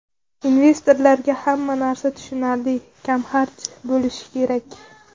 Investorlarga hamma narsa tushunarli, kamxarj bo‘lishi kerak.